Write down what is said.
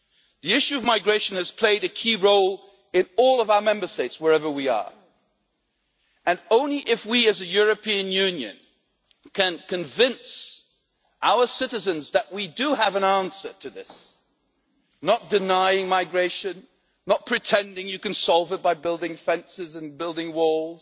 The issue of migration has played a key role in all of our Member States, wherever we are, and only if we, as a European Union, can convince our citizens that we do have an answer to this not denying migration, not pretending you can solve it by building fences and building walls,